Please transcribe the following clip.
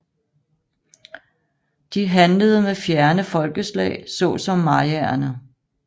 De handlede med fjerne folkeslag såsom Mayaerne